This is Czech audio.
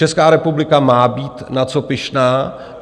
Česká republika má být na co pyšná.